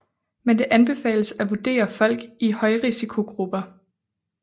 Men det anbefales at vurdere folk i højrisikogrupper